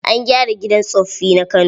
An gyara gidan tsoffi na Kano.